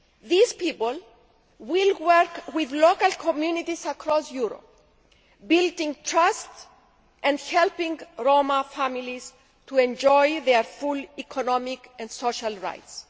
These people will work with local communities across Europe, building trust and helping Roma families to enjoy their full economic and social rights.